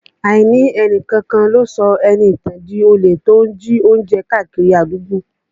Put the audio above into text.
Àìní ẹni kankan lọ sọ Ẹniìtàn di olè tó ń jí oúnjẹ kiri àdúgbò